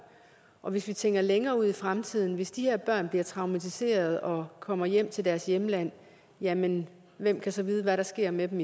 og hvis vi tænker længere ud i fremtiden hvis de her børn bliver traumatiserede og kommer hjem til deres hjemland hjemland hvem kan så vide hvad der sker med dem